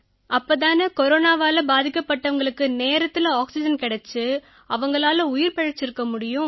அப்பத்தானே கொரோனாவால பாதிக்கப்பட்டவங்களுக்கு நேரத்தில ஆக்சிஜன் கிடைச்சு அவங்களால உயிர் பிழைச்சிருக்க முடியும்